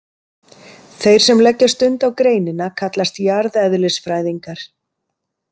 Þeir sem leggja stund á greinina kallast jarðeðlisfræðingar.